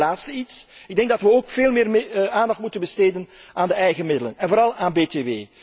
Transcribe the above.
Tenslotte een laatste punt. Ik denk dat we ook veel meer aandacht moeten besteden aan de eigen middelen, en vooral aan btw.